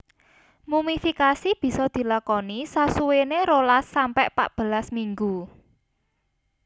Mumifikasi bisa dilakoni sasuwéné rolas sampe patbelas minggu